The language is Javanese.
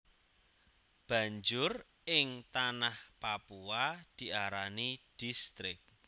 Banjur ing Tanah Papua diarani Distrik